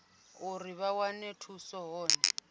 uri vha wane thuso hone